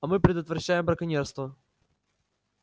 а мы предотвращаем браконьерство